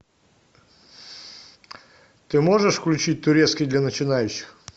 ты можешь включить турецкий для начинающих